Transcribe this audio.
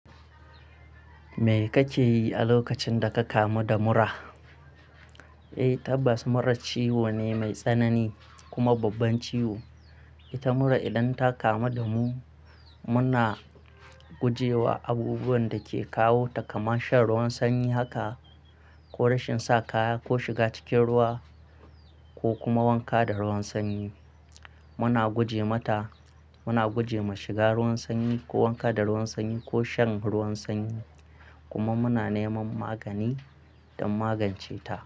Me kake yi a lokacin da ka kamu da mura? Eh, tabas mura ciwo ne mai tsanani kuma babban ciwo. Ita mura idan ta kamu da mu, muna guje wa abubuwan da ke kawo ta kamar shan ruwan sanyi haka, ko rashin sa kaya, ko shiga cikin ruwa, ko kuma wanka da ruwan sanyi. Muna guje mata, muna guje ma shiga ruwan sanyi ko wanka da ruwan sanyi ko shan ruwan sanyi. Kuma muna neman magani don magance ta.